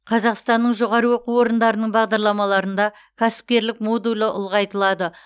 қазақстанның жоғары оқу орындарының бағдарламаларында кәсіпкерлік модулі ұлғайтылады